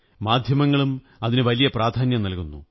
മാധ്യമങ്ങളും അതിനു വലിയ പ്രാധാന്യം നല്കുന്നു